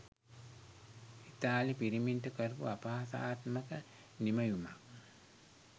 ඉතාලි පිරිමින්ට කරපු අපහාසාත්මක නිමැයුමක්